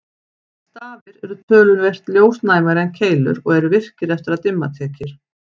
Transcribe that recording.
Stafir eru töluvert ljósnæmari en keilur og eru virkir eftir að dimma tekur.